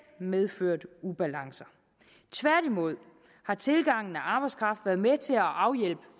medført ubalance tværtimod har tilgangen af arbejdskraft været med til at afhjælpe